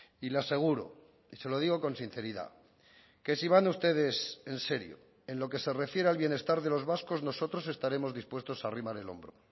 y le aseguro y se lo digo con sinceridad que si van ustedes en serio en lo que se refiere al bienestar de los vascos nosotros estaremos dispuestos a arrimar el hombro